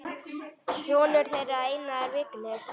Sonur þeirra er Einar Vignir.